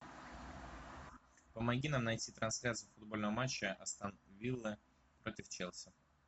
помоги нам найти трансляцию футбольного матча астон вилла против челси